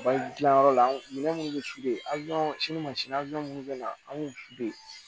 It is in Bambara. Baji dilanyɔrɔ la minɛn minnu bɛ minnu bɛ na an b'u